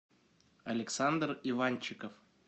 александр иванчиков